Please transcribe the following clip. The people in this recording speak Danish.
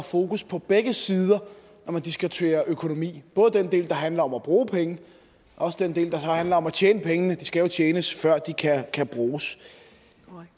fokus på begge sider når man diskuterer økonomi det både den del der handler om at bruge penge og den del der handler om at tjene penge de skal jo tjenes før de kan kan bruges